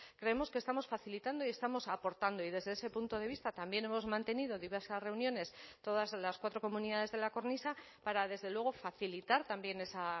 creemos que estamos facilitando y estamos aportando y desde ese punto de vista también hemos mantenido diversas reuniones todas las cuatro comunidades de la cornisa para desde luego facilitar también esa